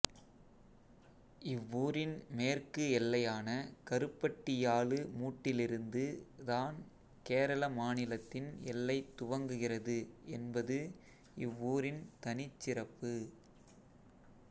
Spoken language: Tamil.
இவ்வூரின் மேற்கு எல்லையான கருப்பட்டியாலு மூட்டிலிருந்து தான் கேரள மாநிலத்தின் எல்லை துவங்குகிறது என்பது இவ்வூரின் தனிச் சிறப்பு